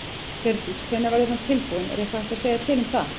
Hjördís: Hvenær verður hann tilbúinn, er eitthvað hægt að segja til um það?